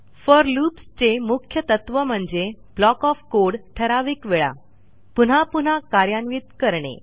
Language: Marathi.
फोर loopsचे मुख्य तत्त्व म्हणजे ब्लॉक ओएफ कोड ठराविक वेळा पुन्हा पुन्हा कार्यान्वित करणे